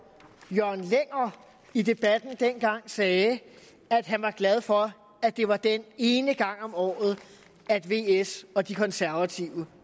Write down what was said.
jørgen lenger i debatten dengang sagde at han var glad for at det var den ene gang om året at vs og de konservative